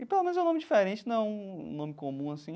E pelo menos é um nome diferente, não é um nome comum, assim.